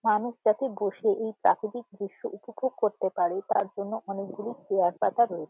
মানুষ যাতে বসে এই প্রাকৃতিক দৃশ্য উপভোগ করতে পারে তার জন্য অনেকগুলি চেয়ার পাতা রয়ে--